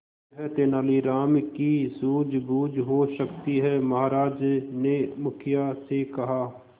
यह तेनालीराम की सूझबूझ हो सकती है महाराज ने मुखिया से कहा